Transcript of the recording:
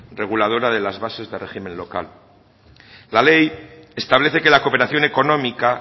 reguladora de las bases de régimen local la ley establece que la cooperación económica